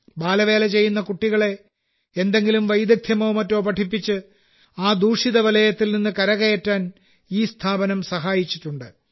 ബാലവേല ചെയ്യുന്ന കുട്ടികളെ എന്തെങ്കിലും വൈദഗ്ധ്യമോ മറ്റോ പഠിപ്പിച്ച് ആ ദുഷിച്ച വലയത്തിൽ നിന്ന് കരകയറാൻ ഈ സ്ഥാപനം സഹായിച്ചിട്ടുണ്ട്